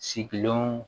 Sigilenw